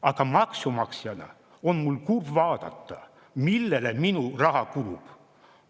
Aga maksumaksjana on mul kurb vaadata, millele minu raha kulub.